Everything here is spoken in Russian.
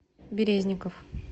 березников